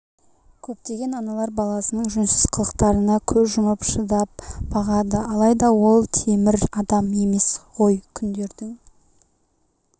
көптеген аналар баласының жөнсіз қылықтарына көз жұмып шыдап бағады алайда ол темір адам емес ғой күндердің